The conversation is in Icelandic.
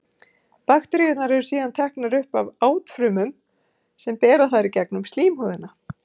Bakteríurnar eru síðan teknar upp af átfrumum sem bera þær í gegnum slímhúðina.